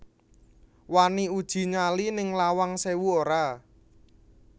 Wani uji nyali ning Lawang Sewu ora?